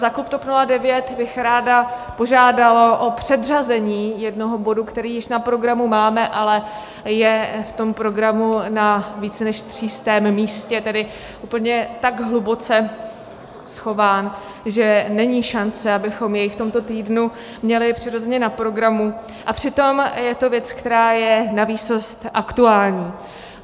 Za klub TOP 09 bych ráda požádala o předřazení jednoho bodu, který již na programu máme, ale je v tom programu na více než třístém místě, tedy úplně tak hluboce schován, že není šance, abychom jej v tomto týdnu měli přirozeně na programu, a přitom je to věc, která je navýsost aktuální.